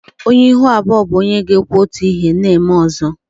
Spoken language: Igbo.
Onye ihu abụọ bụ onye ga-ekwu otu ihe na-eme ọzọ